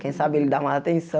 Quem sabe ele dá mais atenção.